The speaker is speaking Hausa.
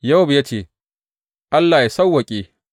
Yowab ya ce, Allah yă sawwaƙe!